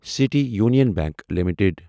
city Union Bank limited